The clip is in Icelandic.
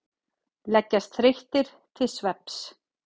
Leggjast þreyttir til svefns.